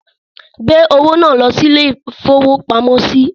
Gbé owó náà lọ ilé-ìfowópamọ́sí!